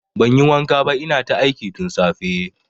Banyi wanka ba ina ta aiki tun safe